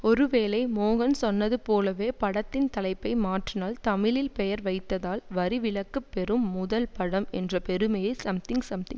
ஒருவேளை மோகன் சொன்னதுபோலவே படத்தின் தலைப்பை மாற்றினால் தமிழில் பெயர் வைத்ததால் வரிவிலக்கு பெறும் முதல் படம் என்ற பெருமையை சம்திங் சம்திங்